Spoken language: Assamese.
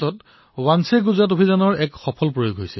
গুজৰাটত বাঞ্চে গুজৰাটৰ এক সফল অভিযান সম্পন্ন হল